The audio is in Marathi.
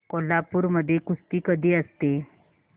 कोल्हापूर मध्ये कुस्ती कधी असते